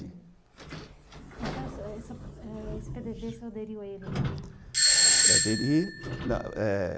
Então, esse pê dê vê você aderiu a ele, então? Aderi eh